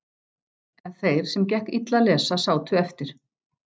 En þeir sem gekk illa að lesa sátu eftir.